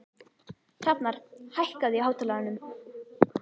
Hrafnar, hækkaðu í hátalaranum.